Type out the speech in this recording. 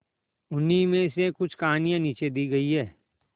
उन्हीं में से कुछ कहानियां नीचे दी गई है